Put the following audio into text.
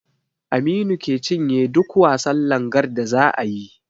Aminu ke cinye duk wasan langar da zaa yi